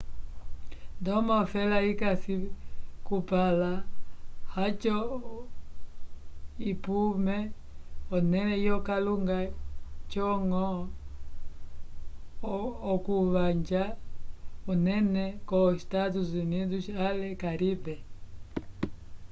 ndomo ofela ikasi kupala oco ipume onele yo kalunga co ngo okuvanja unene ko estados unidos ale caribe